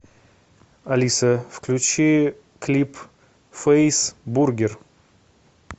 алиса включи клип фейс бургер